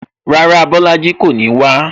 Rárá, Bolaji kò ní wá